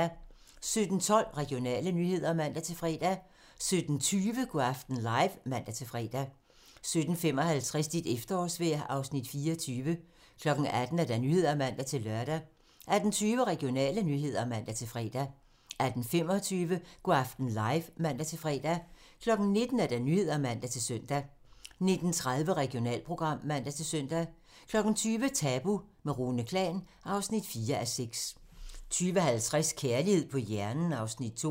17:12: Regionale nyheder (man-fre) 17:20: Go' aften live (man-fre) 17:55: Dit efterårsvejr (Afs. 24) 18:00: Nyhederne (man-lør) 18:20: Regionale nyheder (man-fre) 18:25: Go' aften live (man-fre) 19:00: Nyhederne (man-søn) 19:30: Regionalprogram (man-søn) 20:00: Tabu - med Rune Klan (4:6) 20:50: Kærlighed på hjernen (Afs. 2)